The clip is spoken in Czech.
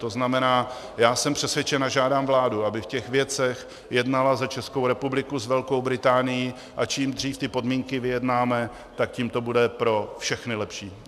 To znamená, já jsem přesvědčen a žádám vládu, aby v těch věcech jednala za Českou republiku s Velkou Británií, a čím dřív ty podmínky vyjednáme, tak tím to bude pro všechny lepší.